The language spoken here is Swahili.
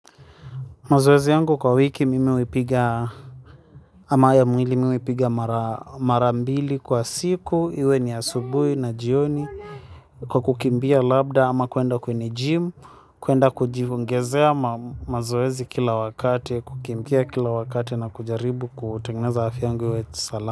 Mazoezi yangu kwa wiki mimi huipiga, ama ya mwili mimi huipiga marambili kwa siku, iwe ni asubuhi na jioni, kwa kukimbia labda ama kuenda kwenye jimu, kuenda kujiongezea mazoezi kila wakati, kukimbia kila wakati na kujaribu kutengeneza afya yangu iwe salama.